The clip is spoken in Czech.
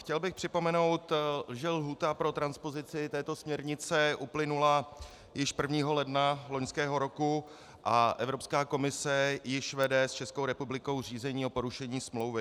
Chtěl bych připomenout, že lhůta pro transpozici této směrnice uplynula již 1. ledna loňského roku a Evropská komise již vede s Českou republikou řízení o porušení smlouvy.